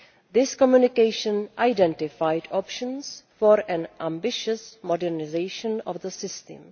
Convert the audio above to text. This communication identified options for an ambitious modernisation of the system.